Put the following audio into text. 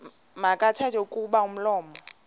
makathethe kuba umlomo